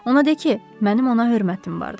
Ona de ki, mənim ona hörmətim vardı.